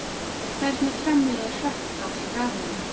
Hvernig framleiðir hrökkáll rafmagn?